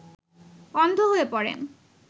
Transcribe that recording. অন্ধ হয়ে পড়েন